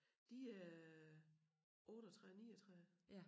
De øh 38 39